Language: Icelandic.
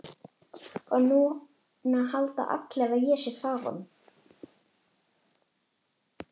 Og núna halda allir að ég sé þaðan.